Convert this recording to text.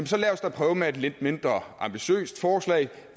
så lad os da prøve med et lidt mindre ambitiøst forslag